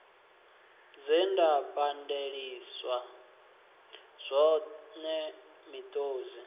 zwe nda pandeliswa zwone miṱodzi